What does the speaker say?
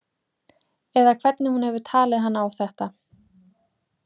Eða hvernig hún hefur talið hann á þetta.